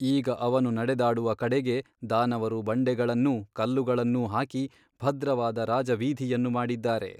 ಈಗ ಅವನು ನಡೆದಾಡುವ ಕಡೆಗೆ ದಾನವರು ಬಂಡೆಗಳನ್ನೂ ಕಲ್ಲುಗಳನ್ನೂ ಹಾಕಿ ಭದ್ರವಾದ ರಾಜವೀಧಿಯನ್ನು ಮಾಡಿದ್ದಾರೆ.